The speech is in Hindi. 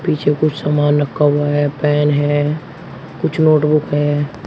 पीछे कुछ सामान रखा हुआ है पैन है कुछ नोट बुक है।